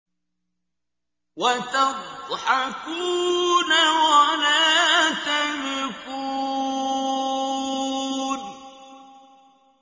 وَتَضْحَكُونَ وَلَا تَبْكُونَ